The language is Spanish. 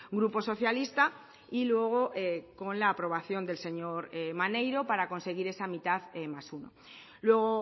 grupo socialista y luego con la aprobación del señor maneiro para conseguir esa mitad más uno luego